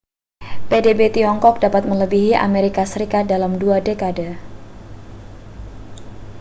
pdb tiongkok dapat melebihi amerika serikat dalam dua dekade